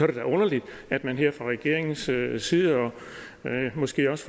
det da underligt at man her fra regeringens side side og måske også